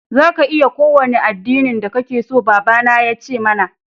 Za ka iya yi ƙowane addinin da ƙake so, baba na ya ce mana.